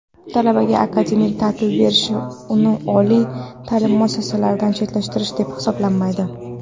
Talabaga akademik ta’til berilishi uni oliy ta’lim muassasasidan chetlashtirish deb hisoblanmaydi.